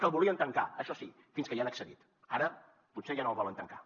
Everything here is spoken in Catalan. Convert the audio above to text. que el volien tancar això sí fins que hi han accedit ara potser ja no el volen tancar